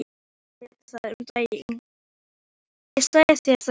Kyngja annarra manna verkum og melta þau, misgóð í maga.